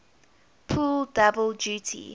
pull double duty